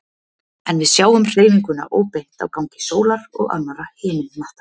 En við sjáum hreyfinguna óbeint á gangi sólar og annarra himinhnatta.